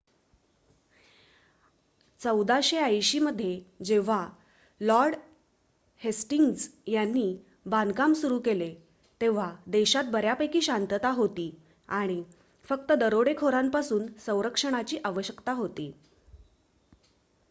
१४८० मध्ये जेव्हा Lord Hastings यांनी बांधकाम सुरू केले तेव्हा देशात बऱ्यापैकी शांतता होती आणि फक्त दरोडेखोरांपासून संरक्षणाची आवश्यकता होती